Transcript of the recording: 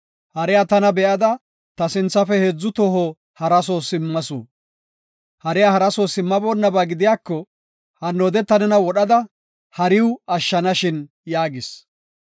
Hariya tana be7ada ta sinthafe heedzu toho hara soo simmasu. Hariya hara soo simmaboonnaba gidiyako, hannoode ta nena wodhada hariw ashshanashin” yaagis.